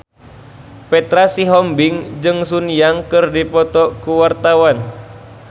Petra Sihombing jeung Sun Yang keur dipoto ku wartawan